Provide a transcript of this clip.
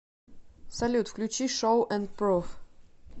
салют включи шоу энд пров